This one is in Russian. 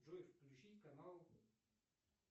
джой включить канал